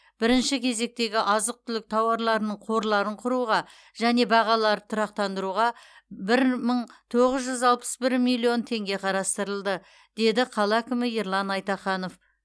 бірінші кезектегі азық түлік тауарларының қорларын құруға және бағаларды тұрақтандыруға бір мың тоғыз жүз алпыс бір миллион теңге қарастырылды деді қала әкімі ерлан айтаханов